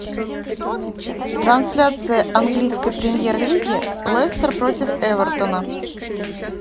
трансляция английской премьер лиги лестер против эвертона